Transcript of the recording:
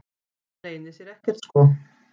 Það leynir sér ekkert sko.